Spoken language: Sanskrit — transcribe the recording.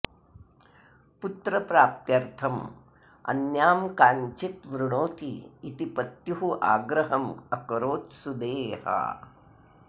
पुत्रप्राप्त्यर्थम् अन्यां काञ्चित् वृणोतु इति पत्युः आग्रहम् अकरोत् सुदेहा